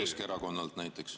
Keskerakonnalt näiteks.